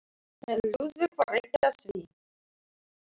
En Lúðvík var ekki á því.